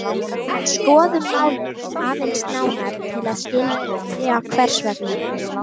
En skoðum málið aðeins nánar til að skilja hvers vegna.